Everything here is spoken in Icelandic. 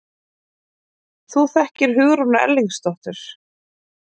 Þú þekkir Hugrúnu Erlingsdóttur?